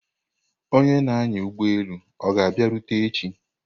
Onye na-anya ụgbọelu ọ ga-abịarute echi?